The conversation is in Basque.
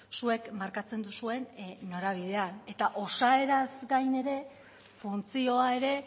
zuek markatzen duzuen norabidean eta osaeraz gain ere funtzioa ere